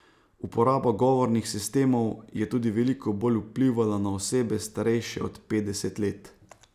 Uporaba govornih sistemov je tudi veliko bolj vplivala na osebe starejše od petdeset let.